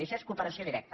i això és cooperació directa